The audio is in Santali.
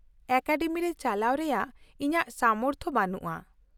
ᱼᱚᱠᱟᱰᱮᱢᱤ ᱨᱮ ᱪᱟᱞᱟᱣ ᱨᱮᱭᱟᱜ ᱤᱧᱟᱹᱜ ᱥᱟᱢᱚᱨᱛᱷ ᱵᱟᱹᱱᱩᱜᱼᱟ ᱾